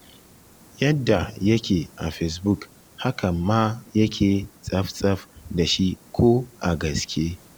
Yadda yake a fesbuk haka ma yake tsaf-tsaf da shi ko a gaske